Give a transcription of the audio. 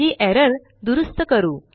ही error दुरूस्त करू